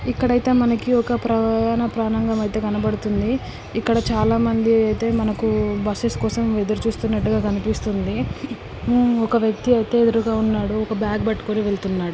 ఇక్కడైతే మనకి ఒక ప్రయాణ కనపడుతుంది. ఇక్కడ చాలా మంది అయితే మనకు బస్సెస్ కోసం ఎదురుస్తునట్టుగ కనిపిస్తుంది. హుమ్ ఒక వక్తి అయితే ఎదురుగా ఉన్నాడు. ఒక బ్యాగ్ పట్టుకొని వెళ్తున్నాడు.